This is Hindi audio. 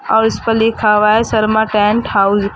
और इस पर लिखा हुआ है शर्मा टेंट हाउस ।